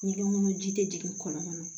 Ni ŋunu ji tɛ jigin kɔnɔna na